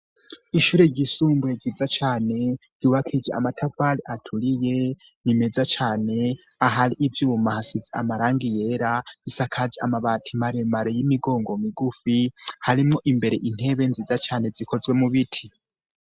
Ishure ry'isumbuye ryiza cane ryubakije amatafari aturiye nimeza cane ahari ivyuma hasize amarangi yera isakaje amabati maremare y'imigongo migufi harimwo imbere intebe nziza cane zikozwe mu biti.